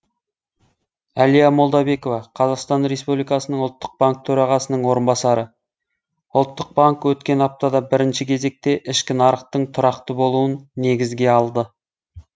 әлия молдабекова қазақстан республикасының ұлттық банк төрағасының орынбасары ұлттық банк өткен аптада бірінші кезекте ішкі нарықтың тұрақты болуын негізге алды